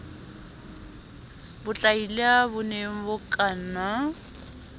botlaila bo ne bo kanna